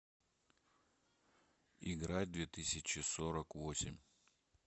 играть в две тысячи сорок восемь